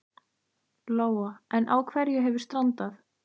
Lóa: En á hverju hefur strandað?